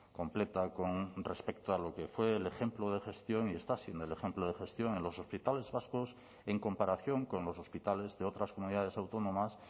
completa con respecto a lo que fue el ejemplo de gestión y está siendo el ejemplo de gestión en los hospitales vascos en comparación con los hospitales de otras comunidades autónomas